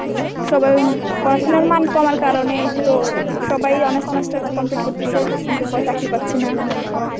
সবাই পড়াশোনার মান কমার কারণে তো সবাই honours মাস্টার complete করতেছে কিন্তু চাকরি পাচ্ছে না.